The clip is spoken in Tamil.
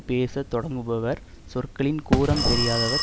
பேச தொடங்குபவர் சொற்களின் கூறம் தெரியாதவர்